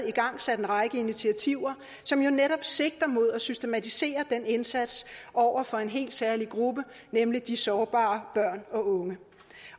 igangsat en række initiativer som jo netop sigter mod at systematisere den indsats over for en helt særlig gruppe nemlig de sårbare børn og unge